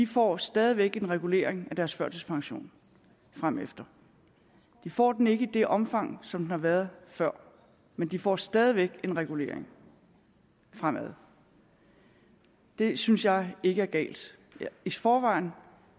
får stadig væk en regulering af deres førtidspension fremefter de får den ikke i det omfang som den har været før men de får stadig væk en regulering fremadrettet det synes jeg ikke er galt i forvejen